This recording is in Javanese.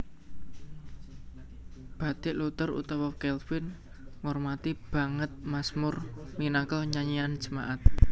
Baik Luther utawa Calvin ngormati banget mazmur minangka nyanyian jemaat